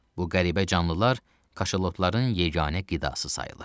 Bu qəribə canlılar kaşalotların yeganə qidası sayılır.